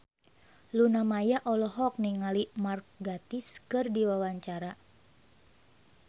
Luna Maya olohok ningali Mark Gatiss keur diwawancara